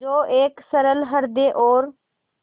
जो एक सरल हृदय और